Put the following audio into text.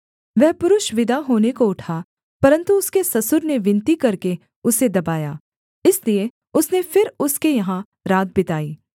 वह पुरुष विदा होने को उठा परन्तु उसके ससुर ने विनती करके उसे दबाया इसलिए उसने फिर उसके यहाँ रात बिताई